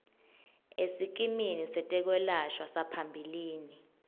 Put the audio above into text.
esikimini setekwelashwa saphambilini